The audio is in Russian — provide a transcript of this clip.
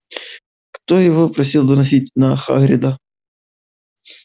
кто его просил доносить на хагрида